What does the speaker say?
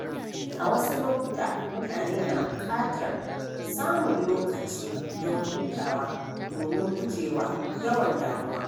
A wasu lokuta, mutane na buƙatar samun lokaci don hutawa domin guje wa yawan damuwa.